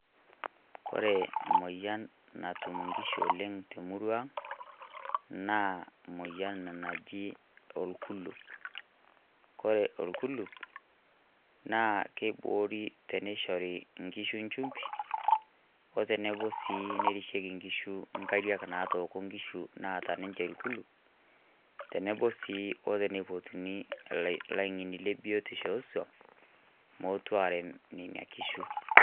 Kore moyian natuum nkishu oleng te murrua ang', naa moyian najii noo olkuluup. Kore olkuluup naa keiboori teneshori nkishu nchumbii. Oteneboo sii neirisheki nkishu nkaariak natooko nkishu naata ninchee lkuluup. Teneboo sii otene pootuni laing'eni le biotisho oso mootum areem nenia nkishuu